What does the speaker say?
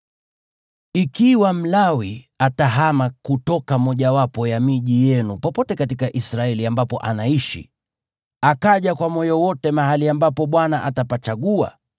Ikiwa Mlawi atahama kutoka mmojawapo ya miji yenu popote katika Israeli ambapo anaishi, akaja kwa moyo wote mahali ambapo Bwana atapachagua,